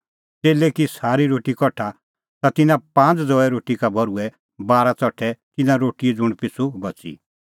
च़ेल्लै की सारी रोटी कठा ता तिन्नां पांज़ ज़ौए रोटी का भर्हुऐ बारा च़ठै तिन्नां रोटीए ज़ुंण पिछ़ू बच़ी